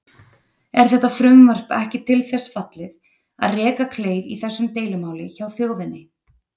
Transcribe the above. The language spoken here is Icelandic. Er þetta frumvarp ekki til þess fallið að reka kleif í þessu deilumáli hjá þjóðinni?